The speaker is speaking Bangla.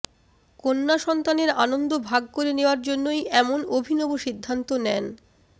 কন্যাসন্তানের আনন্দ ভাগ করে নেওয়ার জন্যই এমন অভিনব সিদ্ধান্ত নেন